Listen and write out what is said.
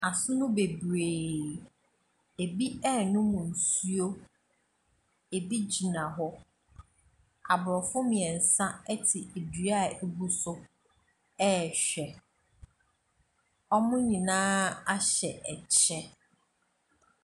Asono bebree, bi ɛrenom nsuo, bi gyina hɔ. aborɔfo mmiensa te dua a abu so ɛrehwɛ. Wɔn nyinaa ahyɛ kyɛ.